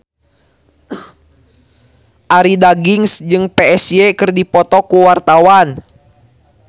Arie Daginks jeung Psy keur dipoto ku wartawan